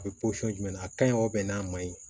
A bɛ jumɛn na a ka ɲi n'a ma ɲi